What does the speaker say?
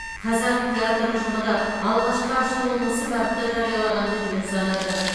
қазақ театр ұжымы да алғашқы ашылуын осы бағытта жариялағанды жөн санады